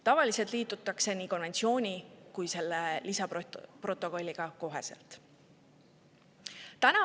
Tavaliselt liitutakse nii konventsiooni kui ka selle lisaprotokolliga koheselt.